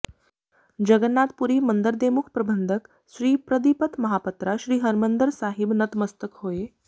ਜਗਨਨਾਥ ਪੁਰੀ ਮੰਦਰ ਦੇ ਮੁੱਖ ਪ੍ਰਬੰਧਕ ਸ੍ਰੀ ਪ੍ਰਦੀਪਤ ਮਹਾਪਤਰਾ ਸ੍ਰੀ ਹਰਿਮੰਦਰ ਸਾਹਿਬ ਨਤਮਸਤਕ ਹੋਏ